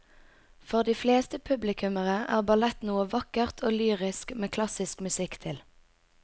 For de fleste publikummere er ballett noe vakkert og lyrisk med klassisk musikk til.